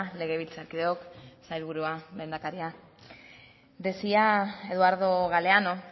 legebiltzarkideok sailburua lehendakaria decía eduardo galeano